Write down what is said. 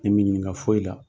Ne m'i ɲininka foyi la.